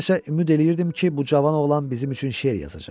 Mən isə ümid eləyirdim ki, bu cavan oğlan bizim üçün şeir yazacaq.